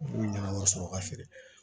N'u ɲana sɔrɔ ka feere